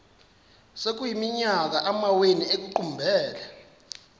sekuyiminyaka amawenu ekuqumbele